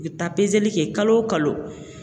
I bɛ taa pezeli kɛ kalo o kalo